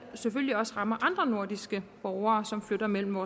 selvfølgelig også rammer andre nordiske borgere som flytter mellem